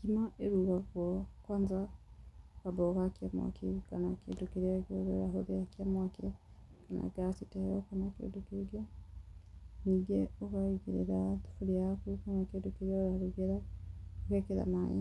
Ngima ĩrugagwo kwanja wambaga ũgakia mwaki kana kĩndũ kĩrĩa kĩngĩ ũrahũthĩra kĩa mwaki, ta gasi ta ĩno kanakĩndũ kĩngĩ. Ningĩ ũkaigĩrĩra thaburĩa yaku kana kĩndũ kĩrĩa ũrarugĩra ũgekĩra maĩ,